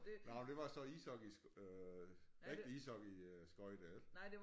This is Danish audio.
Nåh det var så ishockey øh rigtig ishockey øh skøjte